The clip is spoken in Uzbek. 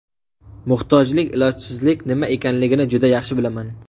Muhtojlik, ilojsizlik nima ekanligini juda yaxshi bilaman.